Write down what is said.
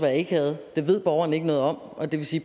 jeg ikke havde det ved borgeren ikke noget om og det vil sige